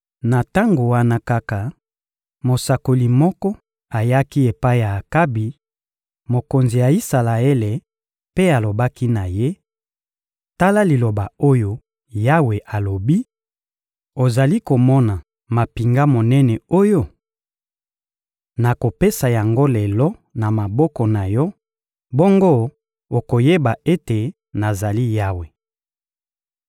Na tango wana kaka, mosakoli moko ayaki epai ya Akabi, mokonzi ya Isalaele, mpe alobaki na ye: — Tala liloba oyo Yawe alobi: «Ozali komona mampinga monene oyo? Nakopesa yango lelo na maboko na yo, bongo okoyeba ete nazali Yawe.»